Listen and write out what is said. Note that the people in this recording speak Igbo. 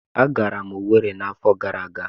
Agara m Owerri n'afọ gara aga.